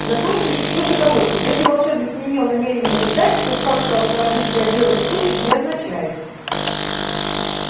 в законе существует оговорка если волшебник не имел намерения летать тот факт что автомобиль приобрёл летучесть не означает